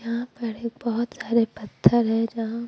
यहां पर बहुत सारे पत्थर है जहां--